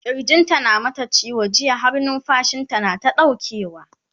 kirjin ta na ta mata ciwo jiya har numfashinta nata ɗaukewa